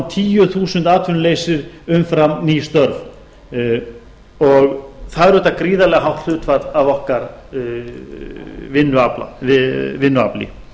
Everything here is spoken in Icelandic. árum tíu prósent atvinnuleysi umfram ný störf það er auðvitað gríðarlega hátt hlutfall af okkar vinnuafli